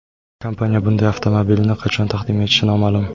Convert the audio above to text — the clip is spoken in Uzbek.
Kompaniya bunday avtomobilni qachon taqdim etishi noma’lum.